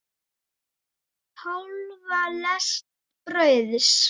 Hálfa lest brauðs.